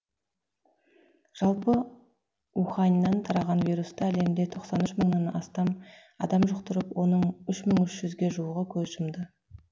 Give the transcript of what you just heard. жалпы уханьнан тараған вирусты әлемде тоқсан үш мыңнан астам адам жұқтырып оның үш мың үш жүзге жуығы көз жұмды